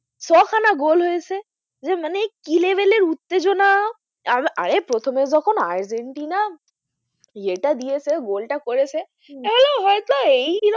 গোল হয়েছে যে মানে কি level এর উত্তেজনা আহ আরে প্রথমে যখন আর্জেন্টিনা ইয়েটা দিয়েছে গোলটা করেছে আমি বললাম হয় তো এই,